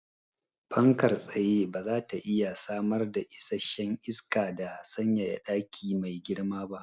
Fankar tsaye bazata iya samar da isasshen isaka da sanyaya daki mai girma ba